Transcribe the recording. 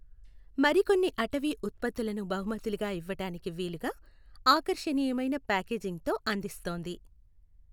మరికొన్ని అటవీ ఉత్పత్తులను బహుమతులుగా ఇవ్వటానికి వీలుగా ఆకర్షణీయమైన పాకేజింగ్ తో అందిస్తోంది.